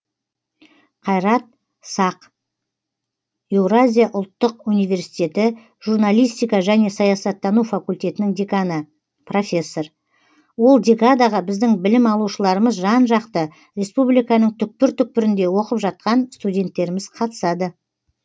қайрат сақ еуразия ұлттық университетінің журналистика және саясаттану факультетінің деканы профессор ол декадаға біздің білім алушыларымыз жан жақты республиканың түкпір түкпірінде оқып жатқан студенттеріміз қатысады